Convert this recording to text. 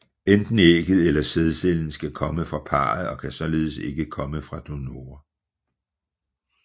Enten ægget eller sædcellen skal komme fra parret og kan således ikke komme fra donorer